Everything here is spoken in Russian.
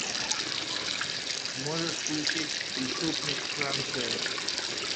можешь включить преступник франция